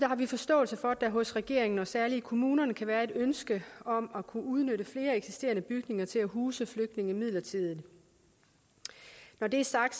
har vi forståelse for at der hos regeringen og særlig i kommunerne kan være et ønske om at kunne udnytte flere eksisterende bygninger til at huse flygtninge midlertidigt når det er sagt